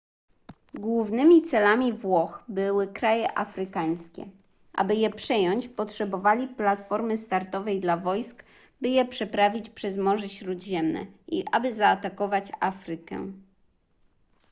głównymi celami włoch były kraje afrykańskie aby je przejąć potrzebowali platformy startowej dla wojsk by je przeprawić przez morze śródziemne i aby zaatakować afrykę